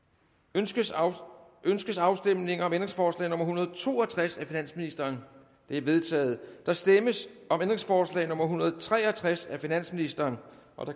ønskes ønskes afstemning om ændringsforslag nummer en hundrede og to og tres af finansministeren det er vedtaget der stemmes om ændringsforslag nummer en hundrede og tre og tres af finansministeren